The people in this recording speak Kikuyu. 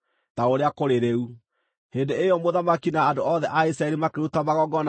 Hĩndĩ ĩyo mũthamaki na andũ othe a Isiraeli makĩruta magongona hau mbere ya Jehova.